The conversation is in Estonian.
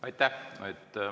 Aitäh!